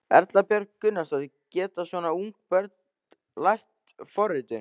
Erla Björg Gunnarsdóttir: Geta svona ung börn lært forritun?